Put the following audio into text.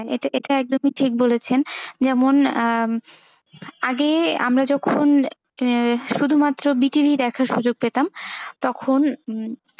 এটা একদমই ঠিক বলেছেন যেমন আহ আগে আমরা যখন শুধুমাত্র দেখার সুযোগ পেতাম তখন,